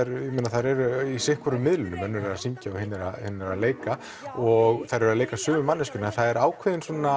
þær eru í sitthvorum miðlinum önnur er að syngja og hin að leika og þær eru að leika sömu manneskjuna en það er ákveðinn svona